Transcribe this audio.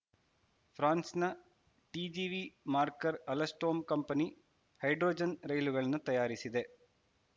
ಫ್ರಾನ್ಸ್‌ನ TGV maker Alstom company hydrogen ರೈಲುಗಳನ್ನು ತಯಾರಿಸಿದೆ